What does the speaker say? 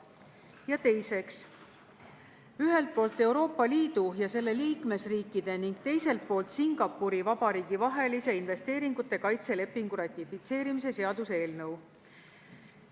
Ja teiseks, ühelt poolt Euroopa Liidu ja selle liikmesriikide ning teiselt poolt Singapuri Vabariigi vahelise investeeringute kaitse lepingu ratifitseerimise seaduse eelnõu.